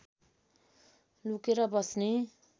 लुकेर बस्ने